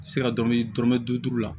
Se ka dɔrɔmɛ dɔrɔmɛ bi duuru la